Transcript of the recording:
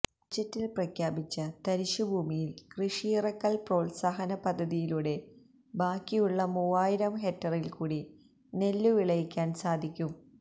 ബജറ്റിൽ പ്രഖ്യാപിച്ച തരിശുഭൂമിയിൽ കൃഷിയിറക്കൽ പ്രോത്സാഹന പദ്ധതിയിലൂടെ ബാക്കിയുള്ള മൂവായിരം ഹെക്ടറിൽകൂടി നെല്ലുവിളയിക്കാൻ സാധിക്കും